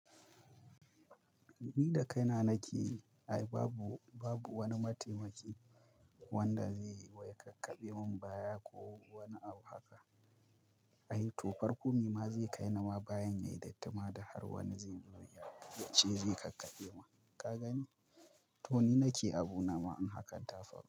Ni da kaina nakeyi, ai babu, babu wani mataimaki wanda zai wai kakkaɓe mun baya ko wani abu haka. Ai to farko me ma zai kai ni ma bayan ya yi datti ma da har wani zai zo yace zai kakkaɓe mun kaga ni? To ni nake abu na ma in hakan ta faru.